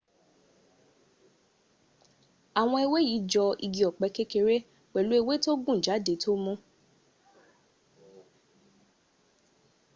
àwọn ewé yí jọ igi ọ̀pẹ́ kékeré pẹ̀lú ewé tó gùn jáde tó mú